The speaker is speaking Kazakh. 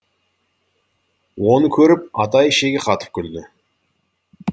оны көріп атай ішегі қатып күлді